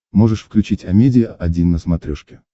можешь включить амедиа один на смотрешке